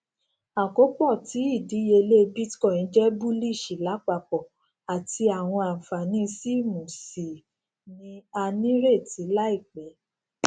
àkopọ tí idiyele bitcoin jẹ bullish lapapọ ati awọn anfani siwmmu sii ni a nireti laipẹ